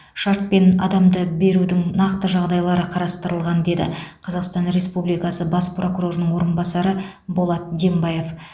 шартпен адамды берудің нақты жағдайлары қарастырылған деді қазақстан республикасы бас прокурорының орынбасары болат дембаев